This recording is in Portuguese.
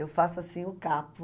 Eu faço assim o capo.